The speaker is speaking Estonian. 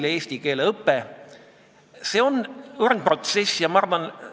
Seda toetas viis inimest: Aadu Must, Heljo Pikhof, Toomas Jürgenstein, Toomas Väinaste ja Viktoria Ladõnskaja-Kubits.